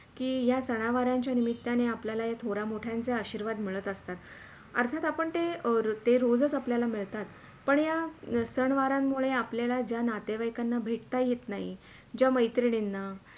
की या सनावारांच्या निमित्ताने आपल्याला थोड्या मोठ्यांचे आशीर्वाद मिळत असतात अर्थात आपण ते रोजचं आपल्याला मिळतात पण या सण वारांमुळे आपल्याला ज्या नातेवाईकांना भेटता ही येत नाही ज्या मैत्रिणींना.